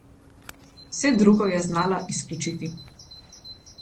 Vse drugo je znala izključiti.